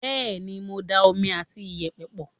bẹ́ẹ̀ni mo ti da omi àti iyẹ̀pẹ̀ pọ̀